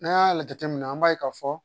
N'an y'a jateminɛ an b'a ye k'a fɔ